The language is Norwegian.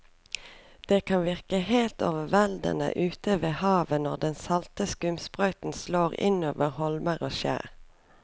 Det kan virke helt overveldende ute ved havet når den salte skumsprøyten slår innover holmer og skjær.